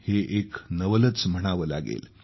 हे एक नवलच म्हणावं लागेल